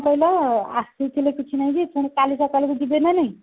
କଣ କହିଲ ଆସିଥିଲେ କିଛି ନାଇଁ ଯେ ପୁଣି କାଲି ସକାଳକୁ ଯିବେ ନା ନାଇଁ